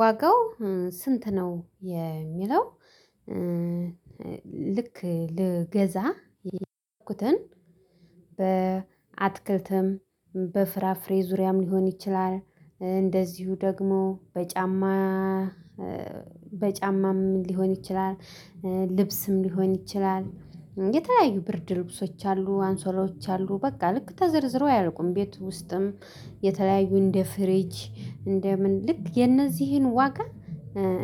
ዋጋው ስንት ነው የሚለው? ልክ ልገዛ እንትን ያልኩትን በአትክልትም በፍራፍሬ ዙሪያም ሊሆን ይችላል። እንደዚሁ ደግሞ ጫማ። በጫማም ሊሆን ይችላል። ልብስም ሊሆን ይችላል የተለያዩ ብርድ ልብሶች አሉ አንሶላዎች አሉ። በቃ ልክ ተዘርዝሮ አያርቁም ቤቱ ውስጥም የተለያዩ እንደ ፍሬጅ እንደ ምን ልክ የነዚህን ዋጋ